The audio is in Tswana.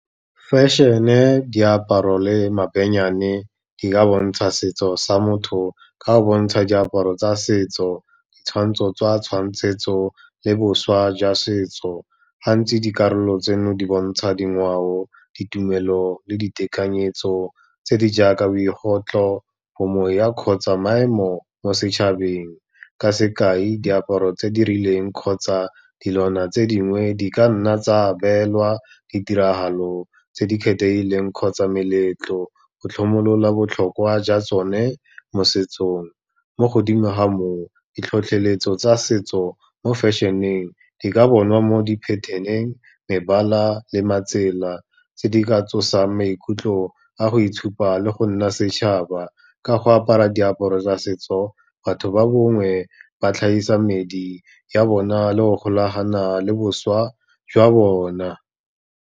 Fashion-e diaparo le mabennyane, di ka bontsha setso sa motho ka go bontsha diaparo tsa setso, ditshwantsho tswa tshwantsetso le boswa jwa setso. Gantsi dikarolo tseno di bontsha dingwao, ditumelo le ditekanyetso tse di jaaka , bo moya kgotsa maemo mo setšhabeng, ka sekai diaparo tse di rileng kgotsa dilwana tse dingwe di ka nna tsa beelwa ditiragalo tse di kgethegileng kgotsa meletlo, go tlhomologa botlhokwa jwa tsone mosetsong. Mo godimo ga moo, ditlhotlheletso tsa setso mo fashion-eng di ka bonwa mo di-pattern-eng, mebala le matsela tse di ka tsosang maikutlo a go itshupa le go nna setšhaba, ka go apara diaparo tsa setso batho ba bongwe ba tlhagisa medi ya bona le go golagana le boswa jwa bona.